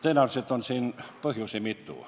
Tõenäoliselt on siin põhjusi mitu.